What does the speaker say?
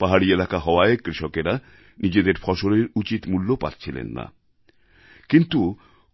পাহাড়ি এলাকা হওয়ায় কৃষকেরা নিজেদের ফসলের উচিৎ মূল্য পাচ্ছিলেন না কিন্তু